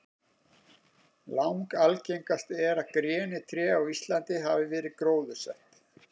Langalgengast er að grenitré á Íslandi hafi verið gróðursett.